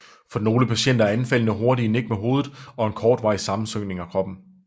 For nogle patienter er anfaldene hurtige nik med hovedet og en kortvarig sammensynkning af overkroppen